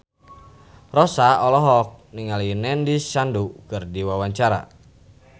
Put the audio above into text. Rossa olohok ningali Nandish Sandhu keur diwawancara